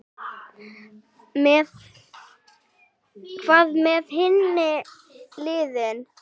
Hvað með hin liðin?